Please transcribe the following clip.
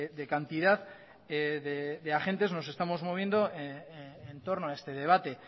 de cantidad de agentes nos estamos moviendo entorno a este debate